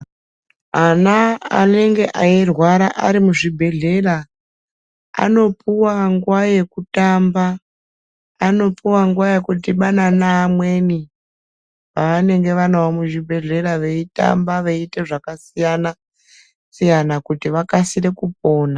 Ana anenge eyi rwara arimu zvibhedhlera ano puwa nguva yeku tamba ano puwa nguva yeku tamba anopuwa nguva yeku dhibana ne amweni va vanenge vanawo mu zvibhedhlera vei tamba veyi ite zvaka siyana siyana kuti vakasire kupona.